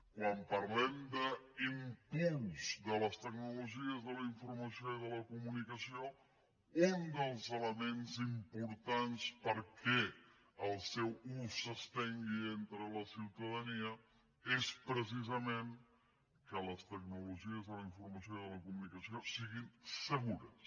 quan parlem d’impuls de les tecnologies de la informació i de la comunicació un dels elements importants perquè el seu ús s’estengui entre la ciutadania és precisament que les tecnologies de la informació i de la comunicació siguin segures